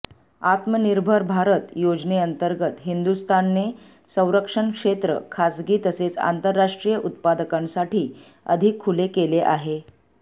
आत्मनिर्भर भारत योजनेअंतर्गत हिंदुस्थानने संरक्षण क्षेत्र खासगी तसेच आंतरराष्ट्रीय उत्पादकांसाठी अधिक खुले केले आहे